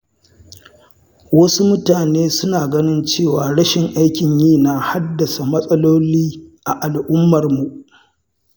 Wasu mutane suna ganin cewa rashin aikin yi na haddasa matsaloli a al'ummar mu.